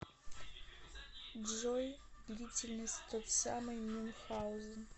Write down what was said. джой длительность тот самый мюнхаузен